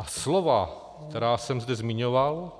A slova, která jsem zde zmiňoval,